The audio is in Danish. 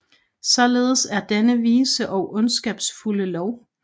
Således er denne vise og ondskabsfulde lov